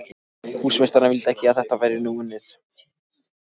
Húsameistari vildi ekki að þetta væri unnið nú.